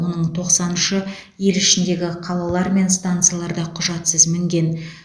оның тоқсан үші ел ішіндегі қалалар мен станцияларда құжатсыз мінген